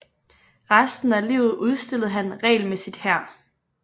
Resten af livet udstillede han regelmæssigt her